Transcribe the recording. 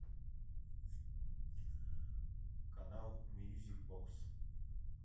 канал мьюзик бокс